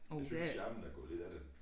Jeg synes charmen er gået lidt af det